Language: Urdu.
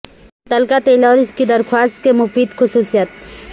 تل کا تیل اور اس کی درخواست کے مفید خصوصیات